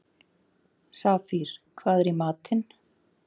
Safír, hvað er í matinn?